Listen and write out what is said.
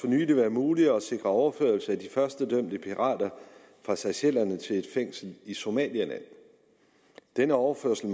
nylig blevet muligt at sikre overførsel af de første dømte pirater fra seychellerne til et fængsel i somalia denne overførsel